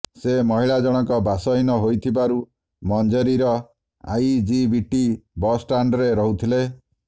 ସେ ମହିଳାଜଣକ ବାସହୀନା ହୋଇଥିବାରୁ ମଞ୍ଜେରିର ଆଇଜିବିଟି ବସ୍ଷ୍ଟାଣ୍ଡ୍ରେ ରହୁଥିଲେ